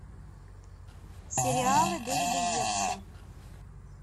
сериалы дэвида йейтса